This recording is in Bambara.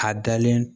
A dalen